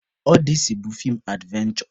Ọdesi bụ feem advenshọ.